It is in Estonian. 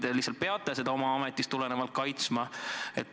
Kas te lihtsalt peate seda oma ametist tulenevalt kaitsma?